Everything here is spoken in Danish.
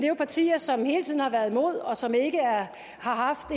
jo partier som hele tiden har været imod og som ikke har haft